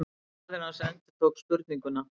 Faðir hans endurtók spurninguna.